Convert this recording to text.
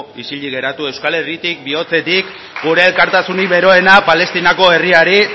isilik geratu euskal herritik bihotzetik gure elkartasunik beroena palestinako herriari